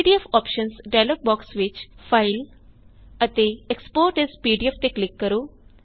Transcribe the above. PDF options dialog box ਵਿੱਚ file ਅਤੇ export as PDF ਤੇ ਕਲਿਕ ਕਰੋ